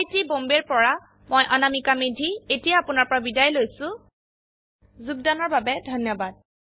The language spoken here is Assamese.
আই আই টী বম্বে ৰ পৰা মই অনামিকা মেধী এতিয়া আপুনাৰ পৰা বিদায় লৈছো যোগদানৰ বাবে ধন্যবাদ